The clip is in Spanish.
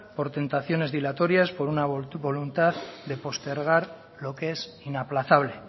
por tentaciones dilatorias por una voluntad de postergar lo que es inaplazable